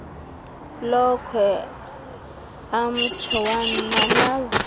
lokhwe amtsho wananazela